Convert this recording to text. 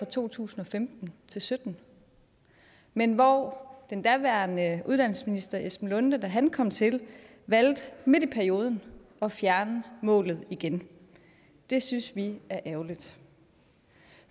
to tusind og femten til sytten men hvor den daværende uddannelsesminister esben lunde larsen da han kom til valgte midt i perioden at fjerne målet igen det synes vi er ærgerligt